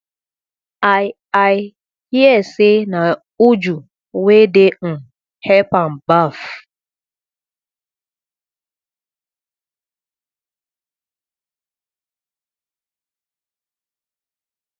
i i hear say na uju wey dey um help am baff